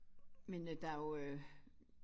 Men øh der jo øh